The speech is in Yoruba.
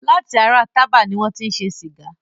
Lati ara Tába ni wọn ti ń ṣe Sìgá.